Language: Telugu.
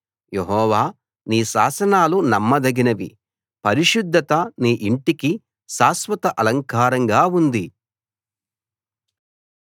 యెహోవా నీ శాసనాలు నమ్మదగినవి పరిశుద్ధత నీ ఇంటికి శాశ్వత అలంకారంగా ఉంది